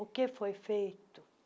O que foi feito?